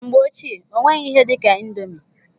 Mgbe ochie, ọ nweghị ihe dị ka indomi.